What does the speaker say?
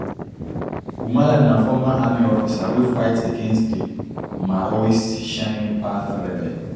humala na former army officer wey fight against di maoist shining path rebels